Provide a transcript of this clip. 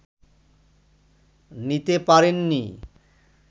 নিতে পারেননি